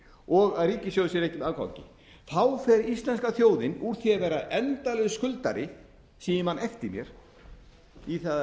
og að ríkissjóður skili afgangi þá fer íslenska þjóðin úr því að vera endalaus skuldari síðan ég man eftir mér í það að